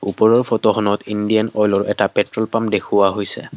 ওপৰৰ ফটোখনত ইণ্ডিয়ান অইলৰ এটা পেট্ৰল পাম্প দেখুৱা হৈছে।